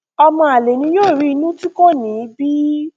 ọmọ àlè ni yóò rí inú tí kò ní í bí